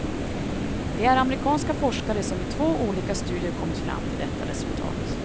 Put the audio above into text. Det är amerikanska forskare som i två olika studier kommit fram till detta resultat.